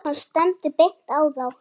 Hann stefndi beint á þá.